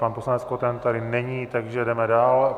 Pan poslanec Koten tady není, takže jedeme dál.